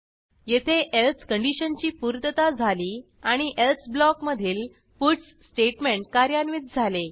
येथे एल्से कंडिशनची पूर्तता झाली आणि एल्से ब्लॉक मधील पट्स स्टेटमेंट कार्यान्वित झाले